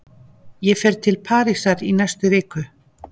Ég fer til Parísar í næstu viku.